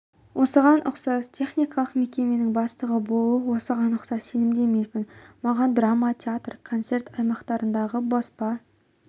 осыған ұқсас техникалық мекеменің бастығы болу осыған ұқсас сенімді емеспін маған драма театр концерт аймақтарындағы баспа